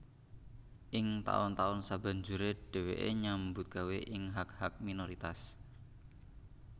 Ing taun taun sabanjuré dhèwèké nyambut gawé ing hak hak minoritas